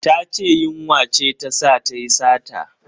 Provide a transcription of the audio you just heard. Ta ce yunwa ce ta sa tayi sata.